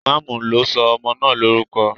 Imamu lo so ọmọ naa lorukọ.